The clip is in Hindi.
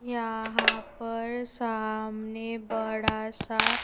यहां पर सामने बड़ा सा--